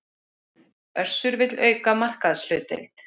Össur vill auka markaðshlutdeild